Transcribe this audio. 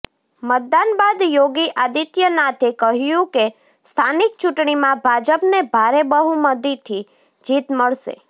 મતદાન બાદ યોગી આદિત્યનાથે કહ્યું કે સ્થાનિક ચૂંટણીમાં ભાજપને ભારે બહુમતિથી જીત મળશે